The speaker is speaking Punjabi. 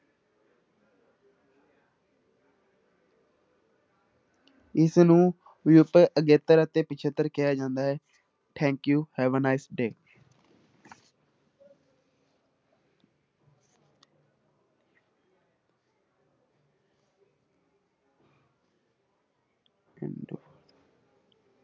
ਇਸਨੂੰ ਵਿਊਪਤ ਅਗੇਤਰ ਅਤੇ ਪਿੱਛੇਤਰ ਕਿਹਾ ਜਾਂਦਾ ਹੈ thank you, have a nice day